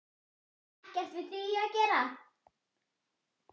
Ekkert við því að gera.